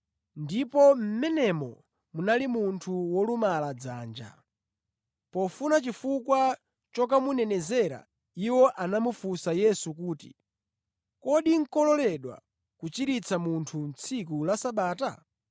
Ndipo mʼmenemo munali munthu wolumala dzanja. Pofuna chifukwa chokamunenezera, iwo anamufunsa Yesu kuti, “Kodi nʼkololedwa kuchiritsa munthu tsiku la Sabata?”